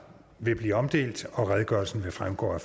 vil blive omdelt og redegørelsen vil fremgå af